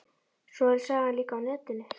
Svo er sagan líka á netinu.